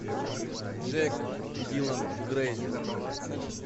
джек дилан грейзер